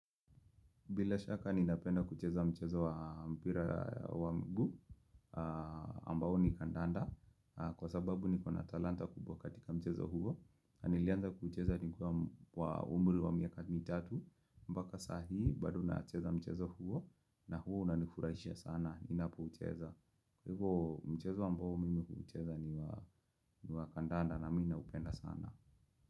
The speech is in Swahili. Bila shaka ninapenda kucheza mchezo wa mpira wa miguu ambao ni kandanda kwa sababu nikona talanta kubwa katika mchezo huo. Nilianza kucheza nikiwa na umri wa miaka mitatu mpaka sasa bado nacheza mchezo huo na huwa unanifurahisha sana ninapoucheza. Kwa hivyo mchezo ambao mimi hucheza ni wa kandanda na mimi naupenda sana.